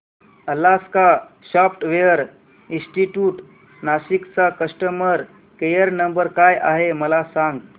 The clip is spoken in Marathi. अलास्का सॉफ्टवेअर इंस्टीट्यूट नाशिक चा कस्टमर केयर नंबर काय आहे मला सांग